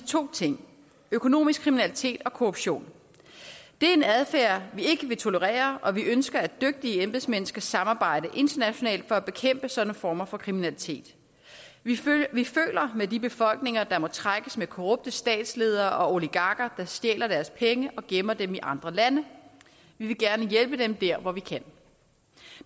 to ting økonomisk kriminalitet og korruption det er en adfærd vi ikke vil tolerere og vi ønsker at dygtige embedsmænd skal samarbejde internationalt for at bekæmpe sådanne former for kriminalitet vi føler med de befolkninger der må trækkes med korrupte statsledere og oligarker der stjæler deres penge og gemmer dem i andre lande vi vil gerne hjælpe dem der hvor vi kan